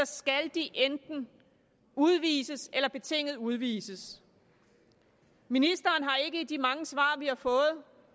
skal enten udvises eller betinget udvises ministeren har ikke i de mange svar vi har fået